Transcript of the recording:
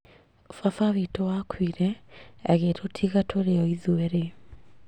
Baba witũ akuire agĩtũtiga tũrĩ oithuerĩ